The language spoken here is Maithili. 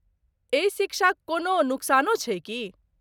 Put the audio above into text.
एहि शिक्षाक कोनो नुकसानो छै की?